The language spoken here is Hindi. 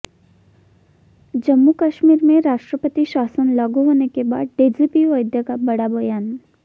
जम्मू कश्मीर में राष्ट्रपति शासन लागू होने के बाद डीजीपी वैद्य का बड़ा बयान